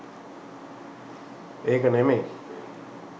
ඒක නෙමෙයි.